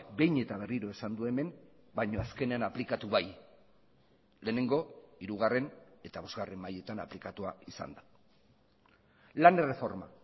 behin eta berriro esan du hemen baina azkenean aplikatu bai lehenengo hirugarren eta bosgarren mailetan aplikatua izan da lan erreforma